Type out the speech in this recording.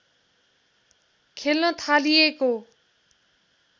खेल्न थालिएको